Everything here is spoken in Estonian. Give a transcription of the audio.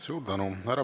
Suur tänu!